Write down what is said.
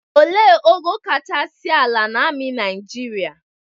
Ele ogo kachasị ala na amị Nịajịrịa?